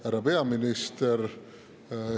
Härra peaminister!